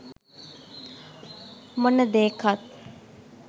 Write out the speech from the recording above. මොන දේකත්